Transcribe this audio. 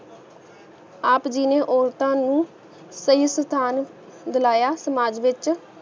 ਆਪ ਜੀ ਨੇ ਔਰਤਾ ਨੂੰ ਸਹੀ ਸਥਾਨ ਦਿਲਾਯਾ ਸਮਾਜ ਵਿਚ